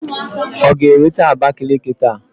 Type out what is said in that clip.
Ọ ga-erute Abakaliki taa?